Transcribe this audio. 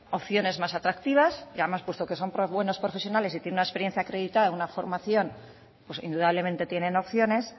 opciones más atractivas y además puesto que son buenos profesiones y tienen una experiencia acreditada una formación pues indudablemente tienen opciones